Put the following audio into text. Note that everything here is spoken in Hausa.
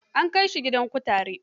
An kai shi gidan kutare.